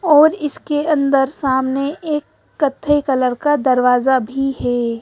और इसके अंदर सामने एक कत्थई कलर का दरवाज़ा भी है।